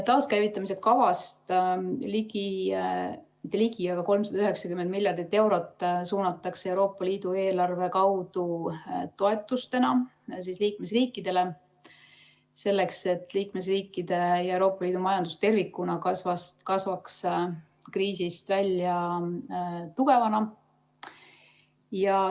Taaskäivitamise kavast 390 miljardit eurot suunatakse Euroopa Liidu eelarve kaudu toetustena liikmesriikidele, selleks et liikmesriikide ja Euroopa Liidu majandus tervikuna kasvaks ja tuleks kriisist välja tugevana.